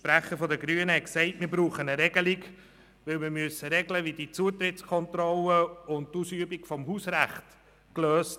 Der Sprecher der Grünen sagte, wir bräuchten eine Regelung zur Klärung von Fragen der Zutrittskontrollen und der Ausübung des Hausrechts.